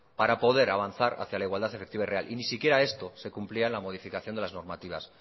para poder avanzar hacia la igualdad efectiva y real y ni siquiera esto se cumplía en la modificación de las normativas